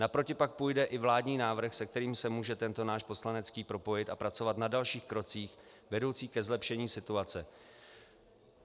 Naproti pak půjde i vládní návrh, se kterým se může tento náš poslanecký propojit a pracovat na dalších krocích, vedoucích ke zlepšení situace.